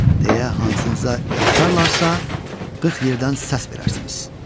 Deyə hansınıza yapışarlarsa, qırx yerdən səs verərsiniz.